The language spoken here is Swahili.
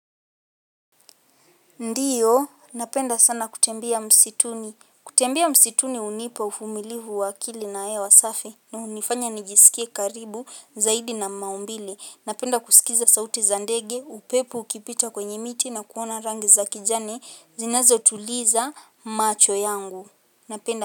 Ndiyo, napenda sana kutembia msituni. Kutembia msituni unipa ufumilifu wakili na ewa safi. Unifanya nijisikie karibu zaidi na maumbili. Napenda kusikiza sauti zandege, upepu kipita kwenyimiti na kuwana rangi za kijani. Zinazotuliza macho yangu. Napenda.